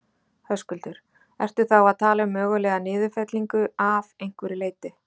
Höskuldur: Ertu þá að tala um mögulega niðurfellingu af einhverju leyti?